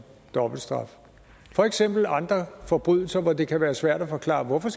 dobbeltstraf for eksempel andre forbrydelser hvor det kan være svært at forklare hvorfor